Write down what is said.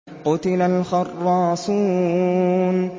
قُتِلَ الْخَرَّاصُونَ